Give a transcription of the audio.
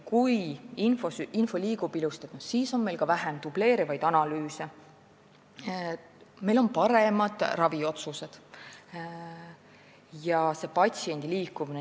Kui info liigub ilusasti, siis on ka vähem dubleerivaid analüüse ja on paremad raviotsused.